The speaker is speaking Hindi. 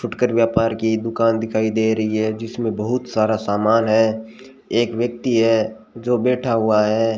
फुटकर व्यापार की दुकान दिखाई दे रही है जिसमें बहोत सारा सामान है एक व्यक्ति है जो बैठा हुआ है।